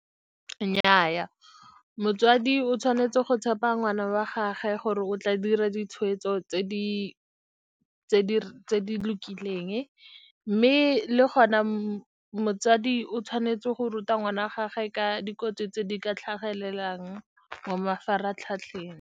Nnyaa, motswadi o tshwanetse go tshepa ngwana wa gagwe gore o tla dira ditshweetso tse di lokileng. Mme le gona motsadi o tshwanetse go ruta ngwana wa gagwe ka dikotsi tse di ka tlhagelelang mo mafaratlhatlheng.